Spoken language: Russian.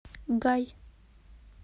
гай